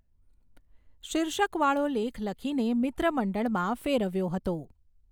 શીર્ષક વાળો લેખ લખીને મિત્રમંડળમાં ફેરવ્યો હતો.